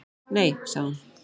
Nei, sagði hún.